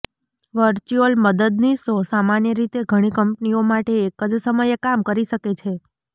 virtual મદદનીશો સામાન્ય રીતે ઘણી કંપનીઓ માટે એક જ સમયે કામ કરી શકે છે